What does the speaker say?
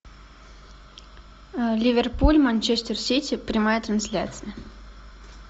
ливерпуль манчестер сити прямая трансляция